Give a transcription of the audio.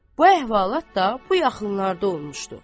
Bu əhvalat da bu yaxınlarda olmuşdu.